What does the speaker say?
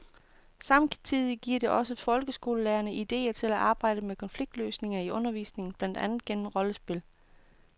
Samtidig giver det også folkeskolelærerne idéer til at arbejde med konfliktløsning i undervisningen, blandt andet gennem rollespil.